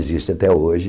Existe até hoje.